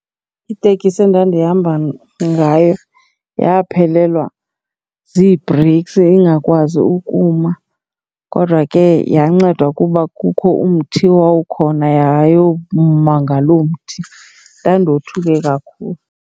Itekisi endandihamba ngayo yaphelelwa zii-breaks ingakwazi ukuma kodwa ke yancedwa kuba kukho umthi owawukhona yayoma ngaloo mthi. Ndandothuke kakhulu.